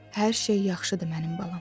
Hər şey yaxşıdır mənim balam.